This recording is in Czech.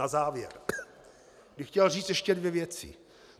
Na závěr bych chtěl říct ještě dvě věci.